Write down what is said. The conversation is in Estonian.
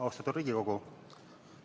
Austatud Riigikogu!